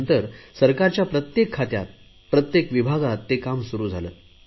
त्यानंतर सरकारच्या प्रत्येक खात्यात प्रत्येक विभागात ते काम सुरु झाले